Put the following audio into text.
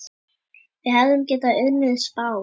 Við hefðum getað unnið Spán.